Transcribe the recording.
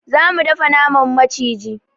Za mu dafa naman maciji.